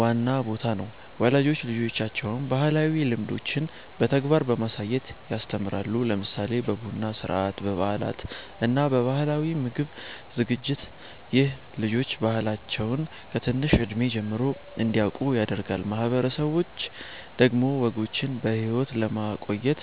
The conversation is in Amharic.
ዋና ቦታ ነው። ወላጆች ልጆቻቸውን ባህላዊ ልምዶችን በተግባር በማሳየት ያስተምራሉ፣ ለምሳሌ በቡና ሥርዓት፣ በበዓላት እና በባህላዊ ምግብ ዝግጅት። ይህ ልጆች ባህላቸውን ከትንሽ እድሜ ጀምሮ እንዲያውቁ ያደርጋል። ማህበረሰቦች ደግሞ ወጎችን በሕይወት ለማቆየት